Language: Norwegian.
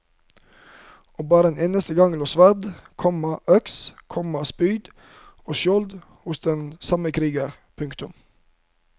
Og bare en eneste gang lå sverd, komma øks, komma spyd og skjold hos den samme kriger. punktum